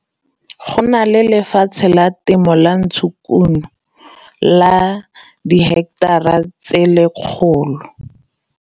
Go na le lefatshe la temo la ntshokuno la diheketara tse 100.